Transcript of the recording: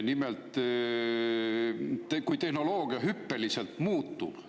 Nimelt, tehnoloogia hüppeliselt muutub.